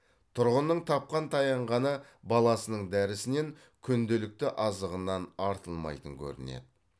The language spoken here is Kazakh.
тұрғынның тапқан таянғаны баласының дәрісінен күнделікті азығынан артылмайтын көрінеді